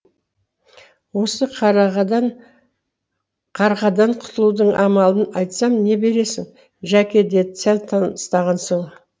осы қарғадан құтылудың амалын айтсам не бересің жәке деді сәл тыныстан соң